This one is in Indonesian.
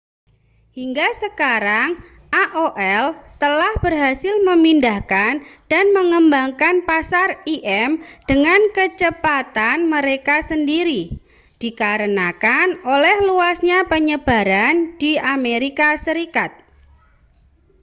hingga sekarang aol telah berhasil memindahkan dan mengembangkan pasar im dengan kecepatan mereka sendiri dikarenakan oleh luasnya penyebaran di amerika serikat